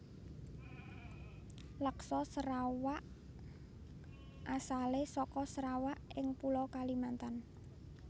Laksa Serawak asale saka Sarawak ing pulo Kalimantan